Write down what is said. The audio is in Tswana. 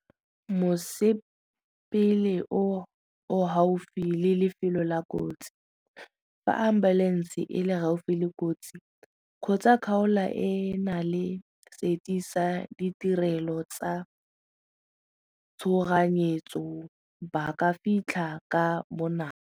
Mosepele o o gaufi le lefelo la kotsi fa ambulance e le gaufi le kotsi kgotsa kgaola e na le seti sa ditirelo tsa tshoganyetso ba ka fitlha ka bonako.